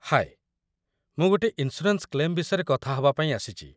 ହାଏ, ମୁଁ ଗୋଟେ insurance claim ବିଷୟରେ କଥା ହବା ପାଇଁ ଆସିଚି ।